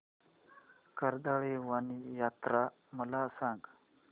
कर्दळीवन यात्रा मला सांग